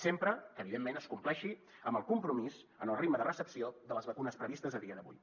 sempre que evidentment es compleixi amb el compromís en el ritme de recepció de les vacunes previstes a dia d’avui